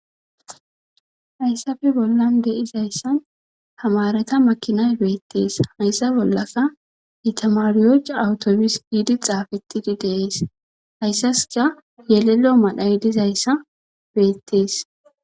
hayssafe bollan de'izayssan tamareta makinay beettees hayssa bollaka itamariyoca awutobis giidi xaafetidi deees hayssaska yelelo madhay dizayssa beettees